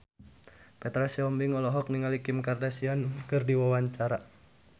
Petra Sihombing olohok ningali Kim Kardashian keur diwawancara